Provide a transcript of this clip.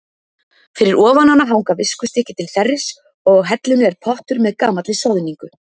Fyrir ofan hana hanga viskustykki til þerris og á hellunni er pottur með gamalli soðningu.